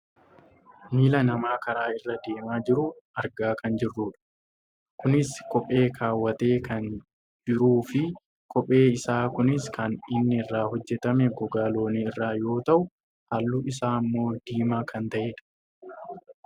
Miila namaa karaa irra deemaa jiru argaa kan jirrudha. Kunis kophee kaawwatee kan jiruufi kopheen isaa kunis kan inni irraa hojjatame gogaa loonii irraa yoo ta'u halluun isaa ammoo diimaa kan ta'edha.